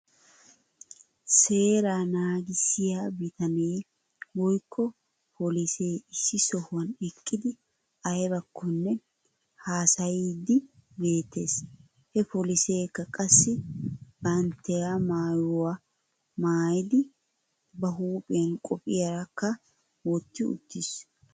Seeraa naagissiyaa bitanee woykko polisee issi sohuwan eqqidi aybakkonne haasayiiddi beettes. He poliseekka qassi bantya maayuwaa maayidi ba huuphiyan qophiyaakka wottiuttis.